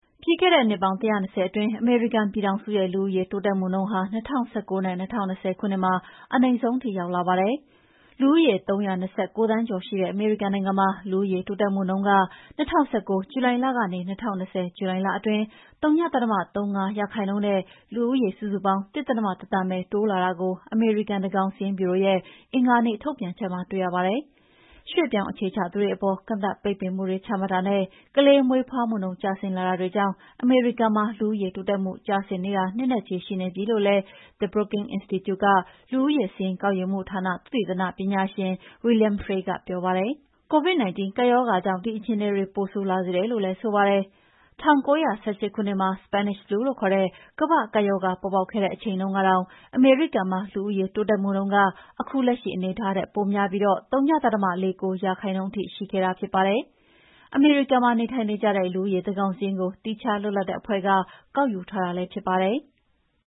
ပြီးခဲ့တဲ့ နှစ်ပေါင်း ၁၂၀ အတွင်း အမေရိကန်ပြည်ထောင်စုရဲ့ လူဦးရေ တိုးတက်မှုနှုန်းဟာ ၂၀၁၉ နဲ့ ၂၀၂၀ ခုနှစ်မှာ အနိမ့်ဆုံးနှုန်း ထိရောက်လာပါတယ်။ လူဦးရေ ၃၂၉ သန်းကျော်ရှိတဲ့ အမေရိကန်နိုင်ငံမှာ လူဦးရေ တိုးတက်မှုနှုန်းက ၂၀၁၉ ဇူလိုင်လကနေ ၂၀၂၀ ဇူလိုင်လအတွင်း ဝ.၃၅% နဲ့ လူဦးရေစုစုပေါင်း ၁.၁ သန်းပဲ တိုးလာတာကို အမေရိကန် သန်းခေါင်စာရင်းဗျူရိုရဲ့ အင်္ဂါနေ့ထုတ်ပြန်ချက်မှာ တွေ့ရပါတယ်။ ရွှေ့ပြောင်းအခြေချသူတွေအပေါ် ကန့်သတ်ပိတ်ပင်မှု ချမှတ်တာနဲ့ ကလေးမွေးဖွားမှုနှုန်း ကျဆင်းလာတာတွေကြောင့် အမေရိကန်မှာ လူဦးရေးတိုးတက်မှု ကျဆင်းနေတာ နှစ်နဲ့ချီရှိနေပြီလို့လည်း The Brooking Institute လူဦးရေစာရင်းကောက်ယူမှုဌာနက သုတေသနပညာရှင် William Frey ကပြောပါတယ်။ COVID-19 ကပ်ရောဂါကြောင့် ဒီအခြေအနေတွေ ပိုဆိုးလာစေတယ်လို့လည်း ဆိုပါတယ်။ 1918 ခုနှစ်မှာ Spanish Flu လို့ခေါ်တဲ့ ကမ္ဘာ့ကပ်ရောဂါ ပေါ်ပေါက်ခဲ့တဲ့အချိန်တုန်းကတောင် အမေရိကန်မှာ လူဦးရေတိုးတက်မှုနှုန်းက ခုလက်ရှိအနေအထားထက်ပိုများပြီး ဝ.၄၉% ထိရှိခဲ့တာပါ။ အမေရိကန်မှာ နေထိုင်ကြတဲ့ လူဦးရေ သန်းခေါင်စာရင်းကို သီးခြားလွတ်လပ်တဲ့အဖွဲ့က ကောက်ယူထားတာဖြစ်ပါတယ်။